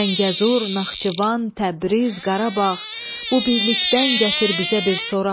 Zəngəzur, Naxçıvan, Təbriz, Qarabağ, bu birlikdən gətir bizə bir soraq.